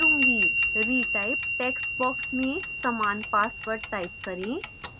retype text box में समान password type करें